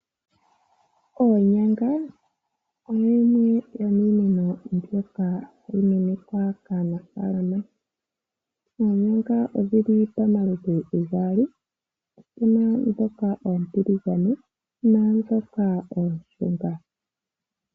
Oonyanga oyo yimwe yomiinima mbyoka hayi kunwa kaanafaalama. Oonyanga odhi li pamaludhi gaali; opu na ndhoka oontiligane naandhoka ooshunga.